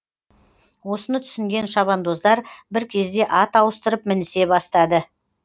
осыны түсінген шабандоздар бір кезде ат ауыстырып мінісе бастады